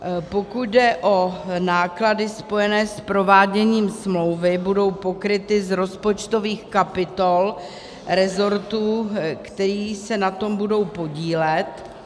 Pokud jde o náklady spojené s prováděním smlouvy, budou pokryty z rozpočtových kapitol rezortů, které se na tom budou podílet.